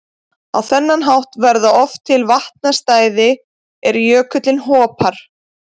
Á þennan hátt verða oft til vatnastæði er jökullinn hopar.